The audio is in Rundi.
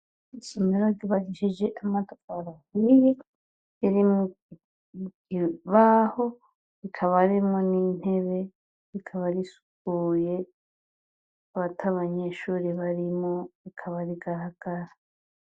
Isomero ryubakishije amatafari ahiye, ririmwo ikibaho, rikaba ririmwo n'intebe, rikaba risukuye, rikaba atabanyeshure barimwo, rikaba rigaragara.